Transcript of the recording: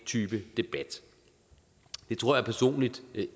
type debat det tror jeg personligt